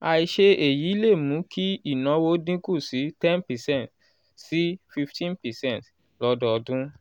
àìṣe èyí lè mú kí ìnáwó dín kù sí ten percent sí fifteen percent lọ́dọọdún.